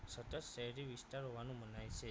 સતત શહેરી વિસ્તારવનું મનાય છે